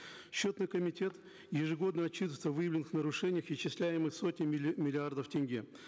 счетный комитет ежегодно отчитывается о выявленных нарушениях исчисляемых сотней миллиардов тенге